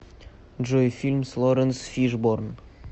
джой фильм с лоренс фишборн